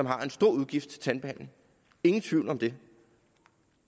har en stor udgift til tandbehandling ingen tvivl om det